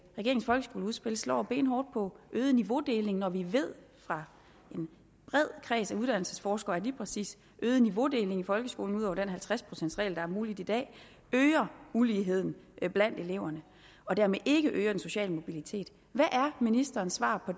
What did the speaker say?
regeringens folkeskoleudspil slår benhårdt på øget niveaudeling når vi ved fra en bred kreds af uddannelsesforskere at lige præcis øget niveaudeling i folkeskolen ud over den halvtreds procents regel der er mulig i dag øger uligheden blandt eleverne og dermed ikke øger den sociale mobilitet hvad er ministerens svar